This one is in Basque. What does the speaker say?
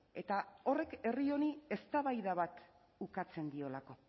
eta horrek herri honi eztabaida bat ukatzen diolako